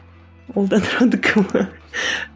ол да атыраудікі ме